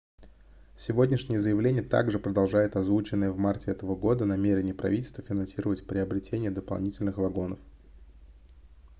сегодняшнее заявление также продолжает озвученное в марте этого года намерение правительства финансировать приобретение дополнительных вагонов